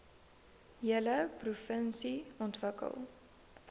hele provinsie ontwikkel